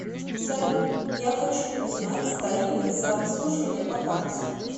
салют я хочу узнать тарифы за обслуживание по карте